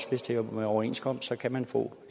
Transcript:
hvis det er med overenskomst kan man få